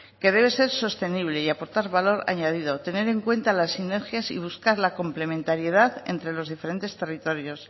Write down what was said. que debe ser sostenible y aportar valor añadido tener en cuenta las sinergias y buscar la complementariedad entre los diferentes territorios